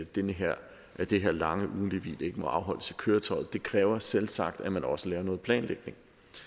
det her det her lange ugentlige hvil ikke må afholdes i køretøjet det kræver selvsagt at man også laver noget planlægning